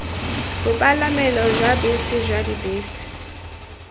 bopalamelo jwa bese jwa dibese